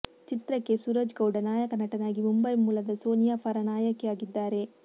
ಚಿತ್ರಕ್ಕೆ ಸೂರಜ್ ಗೌಡ ನಾಯಕ ನಟನಾಗಿ ಮುಂಬೈ ಮೂಲದ ಸೋನಿಯಾ ಫರ ನಾಯಕಿಯಾಗಿದ್ದಾರೆ